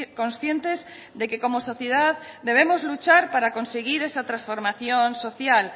conscientes de que como sociedad debemos luchar para conseguir esa transformación social